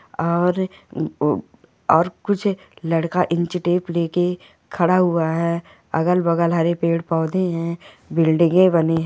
और और कुछ लडका इंच टेप लेके खडा हुआ है अगल बगल हरे पेड़ पौधे है बिल्डिंगे बनी है।